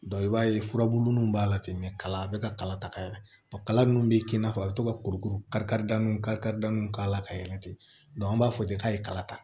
i b'a ye furabulu nun b'a la ten kala be ka kala ta ka yɛlɛ kala nunnu be kɛ i n'a fɔ a be to ka kurukuru kari kari kari kariw k'a la ka yɛlɛ ten an b'a fɔ ten k'a ye kala ta